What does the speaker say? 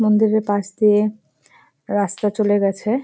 মন্দির-এর পাশ দিয়ে রাস্তা চলে গেছে।